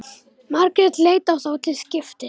Margrét leit á þá til skiptis.